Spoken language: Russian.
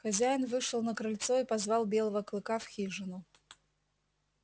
хозяин вышел на крыльцо и позвал белого клыка в хижину